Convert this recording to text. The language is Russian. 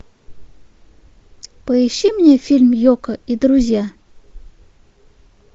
поищи мне фильм йоко и друзья